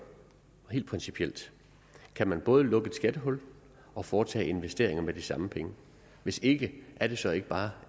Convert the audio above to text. helt principielt kan man både lukke et skattehul og foretage investeringer med de samme penge hvis ikke er det så ikke bare